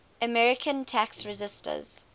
american tax resisters